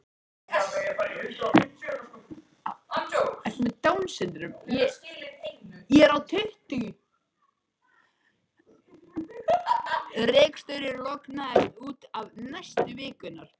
Reksturinn lognaðist út af næstu vikurnar.